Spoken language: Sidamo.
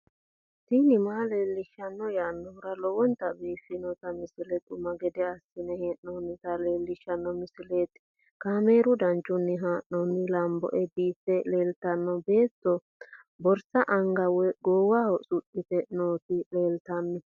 tini maa leelishshanno yaannohura lowonta biiffanota misile xuma gede assine haa'noonnita leellishshanno misileeti kaameru danchunni haa'noonni lamboe biiffe leeeltanno beetto borsa anga woy goowaho suxxite nooti leltanno